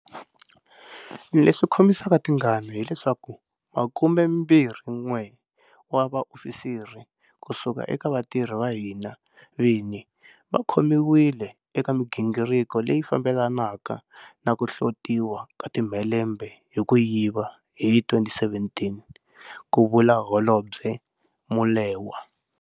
Leswi khomisaka tingaka hi leswaku 21 wa vaofisiri ku suka eka vatirhi va hina vini va khomiwile eka migi ngiriko leyi fambelanaka na ku hlotiwa ka timhelembe hi ku yiva hi 2017, ku vula Holobye Molewa.